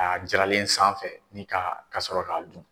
A jiranlen sanfɛ ni ka ka sɔrɔ k'a dun.